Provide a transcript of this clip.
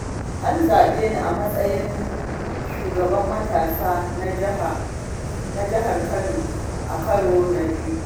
An zaɓe ni a matsayin shugaban matasa na jihar Kano, a karo na biyu.